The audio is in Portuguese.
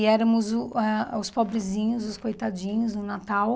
E éramos uh ah os pobrezinhos, os coitadinhos no Natal.